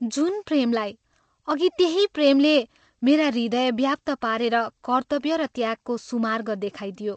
जुन ' प्रेमलाई ' अघि त्यही ' प्रेमले ' मेरा हृदय व्याप्त पारेर कर्त्तव्य र त्यागको सुमार्ग देखाइदियो।